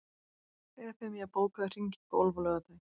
Evfemía, bókaðu hring í golf á laugardaginn.